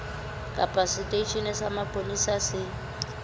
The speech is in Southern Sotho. kapa seteisheneng sa mapolesa se